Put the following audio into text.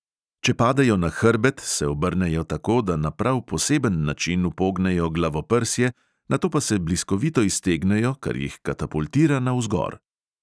Če padejo na hrbet, se obrnejo tako, da na prav poseben način upognejo glavoprsje, nato pa se bliskovito iztegnejo, kar jih katapultira navzgor.